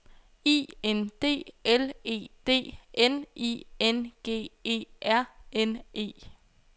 I N D L E D N I N G E R N E